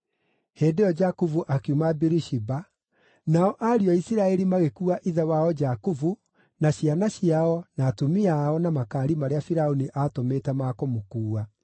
Hĩndĩ ĩyo Jakubu akiuma Birishiba, nao ariũ a Isiraeli magĩkuua ithe wao Jakubu na ciana ciao na atumia ao na makaari marĩa Firaũni aatũmĩte ma kũmũkuua.